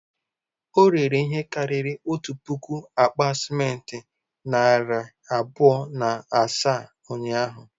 O rere ihe karịrị otu puku akpa simenti na narị abụọ na asaa ụnyahụ?